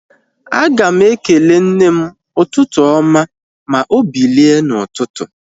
Aga m ekele nne m ụtụtụ oma ma obilie na ututu